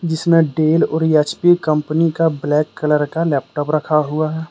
जिसमें डेल और H P company का कंप्यूटर रखा हुआ है।